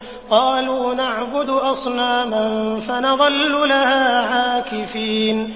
قَالُوا نَعْبُدُ أَصْنَامًا فَنَظَلُّ لَهَا عَاكِفِينَ